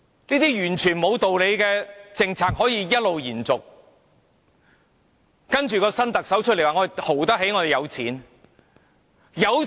這些完全不合理的政策一直延續，接着新特首說我們"豪"得起，我們有錢。